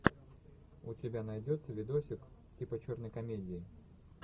у тебя найдется видосик типа черной комедии